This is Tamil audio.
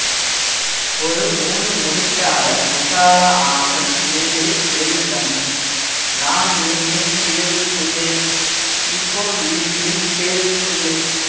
ஒரு மூணு முடிச்சால முட்டாளா ஆனேன் கேளு கேளு தம்பி நான் இருந்தேன் தேருக்குள்ளே இப்போ விழுந்தேன் சேறுக்குள்ளே